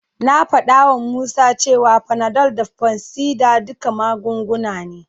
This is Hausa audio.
Na faɗawa Musa cewa Panadol da fansidar duka magunguna ne.